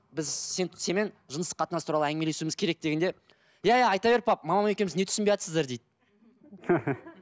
біз сен сенімен жыныстық қатынас туралы әңгімелесуіміз керек дегенде иә иә айта бер мамам екеуіңіз не түсінбейатсыздар дейді